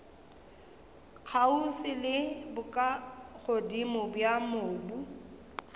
kgauswi le bokagodimo bja mobu